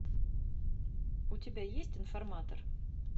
у тебя есть информатор